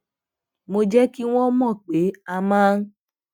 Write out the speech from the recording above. mo jé kí wón mò pé a máa